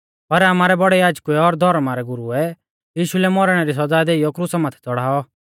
पर आमारै बौड़ै याजकुऐ और धौर्मा रै गुरुऐ यीशु लै मौरणै री सौज़ा देइयौ क्रुसा माथै च़ड़ाऔ